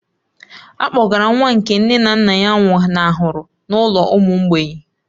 A kpọgara nwa nke nne na nna ya nwụnahụrụ n'ụlọ ụmụ mgbei